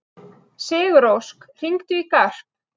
Sigurósk, hringdu í Garp.